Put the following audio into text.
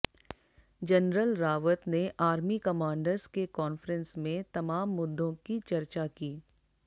general Rawat ने army commanders के conference में तमाम मुद्दों की चर्चा की